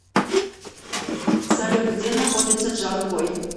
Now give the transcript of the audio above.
салют где находится джанкой